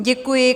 Děkuji.